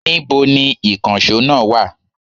Níbo ni ìkànsó náà wa?